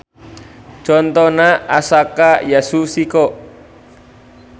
Contona Asaka Yasuhiko.